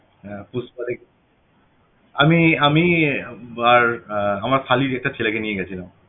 হ্যাঁ পুস্পা দেক~ আমি আমি~ আর আমার শালীর একটা ছেলেকে নিয়ে গেছিলাম